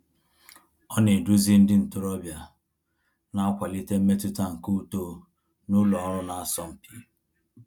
Ọ na-eduzi ndị ntorobịa, na-akwalite mmetụta nke uto n’ụlọ ọrụ na-asọ mpi.